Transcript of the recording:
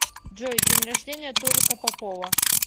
джой день рождения толика попова